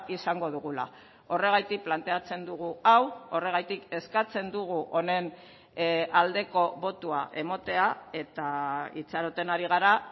izango dugula horregatik planteatzen dugu hau horregatik eskatzen dugu honen aldeko botoa ematea eta itxaroten ari gara